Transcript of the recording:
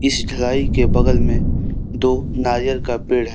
शिखलाई के बगल में दो नारियल का पेड़ है।